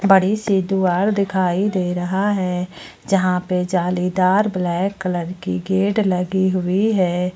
बड़ी सी दुआर दिखाई दे रहा है जहां पे जालीदार ब्लैक कलर की गेट लगी हुई है।